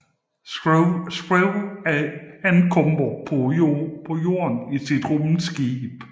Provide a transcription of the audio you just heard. Screw ankommer på jorden i sit rumskib